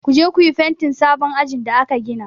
Ku je ku yi fentin sabon ajin da aka gina!